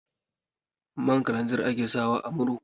Man kalanzir ake sawa a murhu.